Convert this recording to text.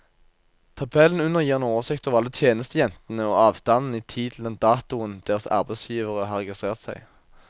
Tabellen under gir en oversikt over alle tjenestejentene og avstanden i tid til den datoen deres arbeidsgivere har registrert seg.